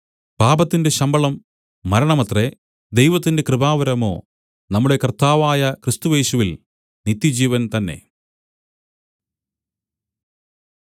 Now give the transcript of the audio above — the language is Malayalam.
പാപത്തിന്റെ ശമ്പളം മരണമത്രേ ദൈവത്തിന്റെ കൃപാവരമോ നമ്മുടെ കർത്താവായ ക്രിസ്തുയേശുവിൽ നിത്യജീവൻ തന്നെ